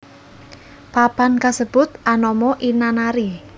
Papan kasebut anama Inanari